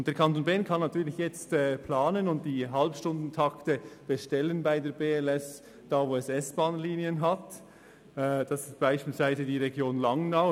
Der Kanton Bern kann natürlich jetzt planen und die Halbstundentakte bei der BLS dort bestellen, wo es S-Bahn-Linien hat, beispielsweise für die Region Langnau.